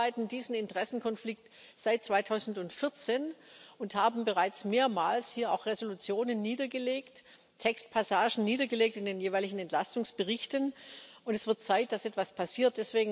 Wir bearbeiten diesen Interessenkonflikt seit 2014 und haben bereits mehrmals hier auch Entschließungen niedergelegt, Textpassagen in den jeweiligen Entlastungsberichten niedergelegt. Es wird Zeit, dass etwas passiert.